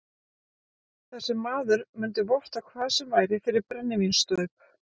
Þessi maður mundi votta hvað sem væri fyrir brennivínsstaup